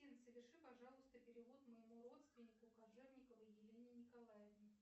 афина соверши пожалуйста перевод моему родственнику кожевниковой елене николаевне